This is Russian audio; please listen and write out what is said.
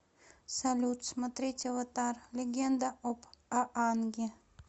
салют смотреть аватар легенда об аанге